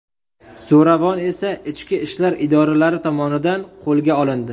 Zo‘ravon esa ichki ishlar idoralari tomonidan qo‘lga olindi.